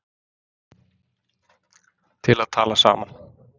til að tala saman